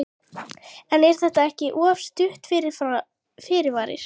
En er þetta ekki of stuttur fyrirvari?